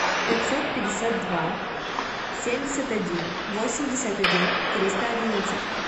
пятьсот пятьдесят два семьдесят один восемьдесят один триста одиннадцать